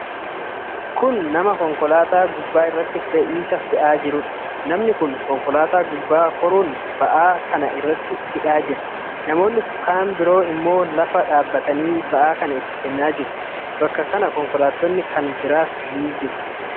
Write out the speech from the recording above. Kun nama konkolaataa gubbaa irratti fe'iisa fe'aa jiruudha. Namni kun konkolaataa gubbaa koruun ba'aa kana irratti hidhaa jira. Namoonni kan biroo ammoo lafaa dhaabatanii ba'aa kana itti kennaa jiru. Bakka kana konkolaattoni kan biraas ni argamu.